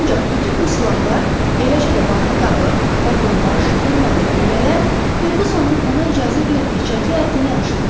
Ancaq bütün bu silahlar, eləcə də barıt qabı, patron daş, qırma və güllələr Ferqüssonun ona icazə verdiyi çəki həddini aşmırdı.